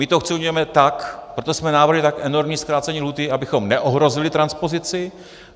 My to chceme udělat tak, proto jsme navrhli tak enormní zkrácení lhůty, abychom neohrozili transpozici.